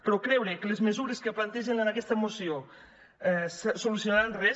però creure que les mesures que plantegen en aquesta moció solucionaran res